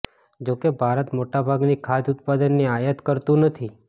જો કે ભારત મોટાભાગની ખાદ્ય ઉત્પાદનની આયાત કરતુ નથી